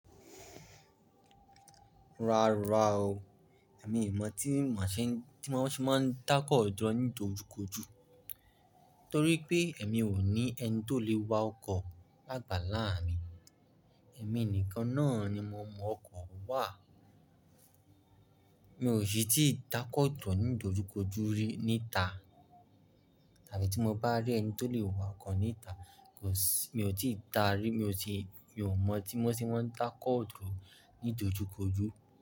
Rárá o, èmi ò mọ̀ tí mà ṣe ń tí wọ́n ṣe máa ń dákọ̀ ọ̀jọ́ ní dojúkojú. Nítorí pé èmi ò ní ẹni tó lè wa ọkọ̀ lágbàlá mi. Èmí nìkan náà ni mo mọ ọkọ̀ wà. Mi ò sì tí ì dákọ̀ dúró ní ìdojúkojú rí níta, tàbí tí mo bá rí ẹni tó lè wakọ̀ níta, kò sì-- mi ò tíì ta rí, mi ò sì, mi ò mọ̀ tí wọ́n ṣe máa ń dákọ̀ dúró ní ìdojúkojú.